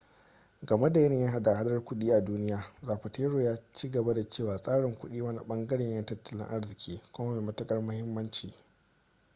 game da yanayin hada-hadar kudi a duniya zapatero ya ci gaba da cewa tsarin kudi wani bangare ne na tattalin arziki kuma mai matukar muhimmanci